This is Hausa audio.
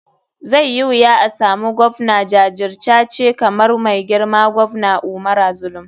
Zai yi wuya asamu govna jajircace kamar mai girma govna umara zulum.